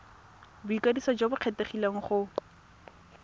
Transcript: boikwadiso jo bo kgethegileng go